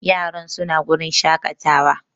Yaran su na wurin shaƙatawa